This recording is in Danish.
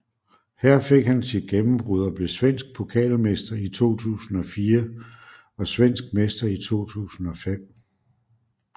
Her fik han sit gennembrud og blev svensk pokalmester i 2004 og svensk mester i 2005